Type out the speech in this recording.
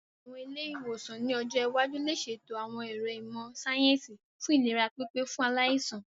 Àwọn ilé-ìwòsàn ní ọjọ́ iwájú lè ṣètò àwọn ẹ̀ro ìmọ̀ síáyẹ́nsì fún ìlera pípé fún aláìsàn